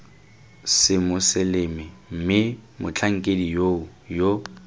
semoseleme mme motlhankedi yoo yo